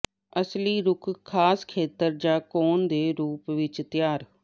ਅਸਲੀ ਰੁੱਖ ਖਾਸ ਖੇਤਰ ਜ ਕੋਨ ਦੇ ਰੂਪ ਵਿਚ ਤਿਆਰ